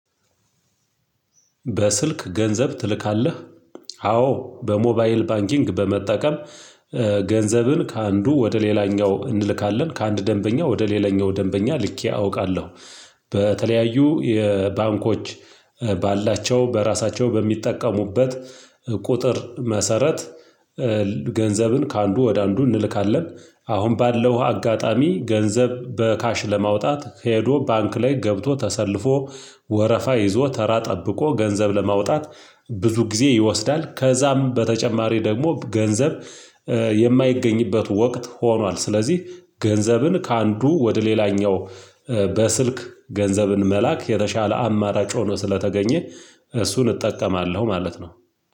በስልክ ገንዘብ ትልካለህ? አዎ በሞባይል ባንኪንግ በመጠቀም ገንዘብን ከአንዱ ወደ ሌላኛው እንልካለን ከአንድ ደንበኛ ወደ ሌላኛው ደንበኛ ልኬ አውቃለሁ። በተለያዩ የባንኮች ባላቸው በራሳቸው በሚጠቀሙበት ቁጥር መሰረት። ገንዘብን ከአንዱ ወደ አንዱ እንልካለን። አሁን ባለው አጋጣሚ ገንዘብ በካሽ ለማውጣት ሄዶ ባንክ ላይ ገብቶ ተሰልፎ ወረፋ ይዞ ተራ ጠብቆ ገንዘብ ለማውጣት ብዙ ጊዜ ይወስዳል። ከዛም በተጨማሪ ደግሞ ገንዘብ የማይገኝበት ወቅት ሆኗል። ስለዚህ ገንዘብን ከአንዱ ወደ ሌላኛው በስልክ ገንዘብን መላክ የተሻለ አማራጭ ሆኖ ስለተገኘ እሱን እጠቀማለሁ። ማለት ነው።